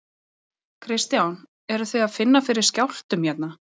Kristján: Eruð þið að finna fyrir skjálftum hérna?